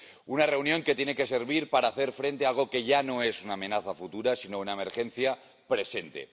Una reunión que tiene que servir para hacer frente a algo que ya no es una amenaza futura, sino una emergencia presente.